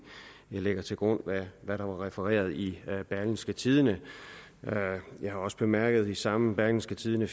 jeg lægger til grund hvad der var refereret i berlingske tidende jeg har også bemærket i samme berlingske tidende